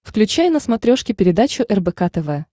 включай на смотрешке передачу рбк тв